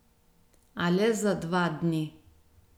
A le za dva dni.